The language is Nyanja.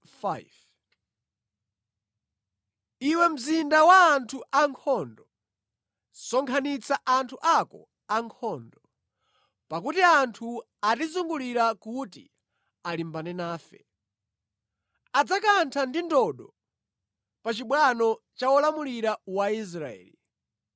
Iwe mzinda wa anthu ankhondo, sonkhanitsa anthu ako ankhondo, pakuti anthu atizungulira kuti alimbane nafe. Adzakantha ndi ndodo pa chibwano cha wolamulira wa Israeli.